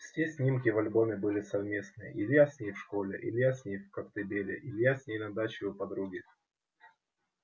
все снимки в альбоме были совместные илья с ней в школе илья с ней в коктебеле илья с ней на даче у подруги